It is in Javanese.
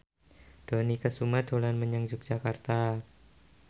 Dony Kesuma dolan menyang Yogyakarta